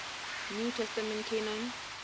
new testament canon